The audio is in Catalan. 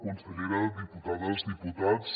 consellera diputades diputats